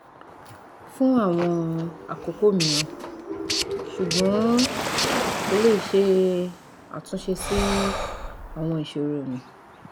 fun awon akoko miran sugbon ko le se atunse si awon isoromi